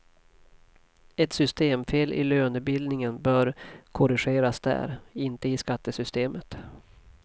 Ett systemfel i lönebildningen bör korrigeras där, inte i skattesystemet.